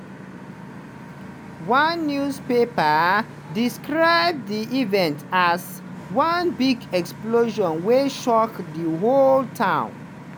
one newspaper describe di event as "one big explosion wey shock di whole town."